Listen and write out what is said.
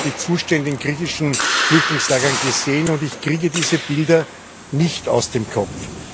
Ich habe die Zustände in griechischen Flüchtlingslagern gesehen und ich kriege diese Bilder nicht aus dem Kopf.